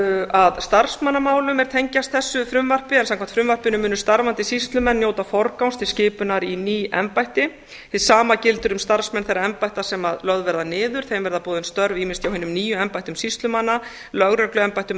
að starfsmannamálum er tengjast þessu frumvarpi en samkvæmt frumvarpinu munu starfandi sýslumenn njóta forgangs til skipunar í ný embætti hið sama gildir um starfsmenn þeirra embætta sem lögð verða niður þeim verða boðin störf ýmist hjá hinum nýju embættum sýslumanna lögregluembættum eða